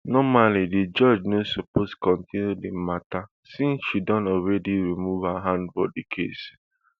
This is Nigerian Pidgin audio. normally di judge no suppose continue di matter since she don already remove her hand for di case